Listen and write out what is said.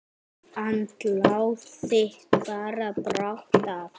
Andlát þitt bar brátt að.